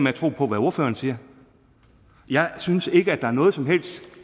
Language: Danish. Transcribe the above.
at tro på hvad ordføreren siger jeg synes ikke at der er noget som helst